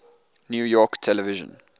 new york television